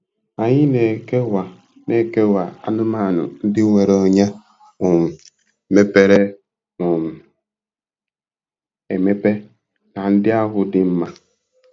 Anyị na-ekewa na-ekewa anụmanụ ndị nwere ọnyá um mepere um emepe na ndị ahụ dị mma.